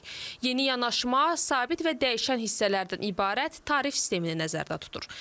Yeni yanaşma sabit və dəyişən hissələrdən ibarət tarif sistemini nəzərdə tutur.